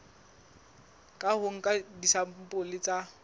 ka ho nka disampole tsa